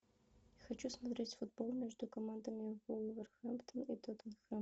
хочу смотреть футбол между командами вулверхэмптон и тоттенхэм